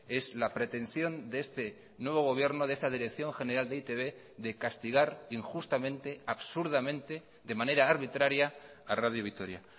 es la pretensión de este nuevo gobierno de esta dirección general de e i te be de castigar injustamente absurdamente de manera arbitraria a radio vitoria